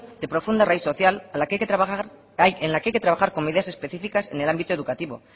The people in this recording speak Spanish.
de profunda raíz social en la que hay que trabajar con ideas específicas en el ámbito educativo